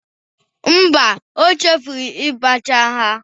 Mba, o chefuru ibacha ha.